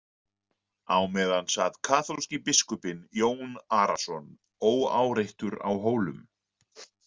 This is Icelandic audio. Á meðan sat kaþólski biskupinn Jón Arason óáreittur á Hólum.